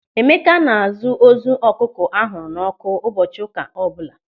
Emeka na-azụ ozu ọkụkọ a hụrụ n'ọ́kụ́ ụbọchị ụka ọbụla.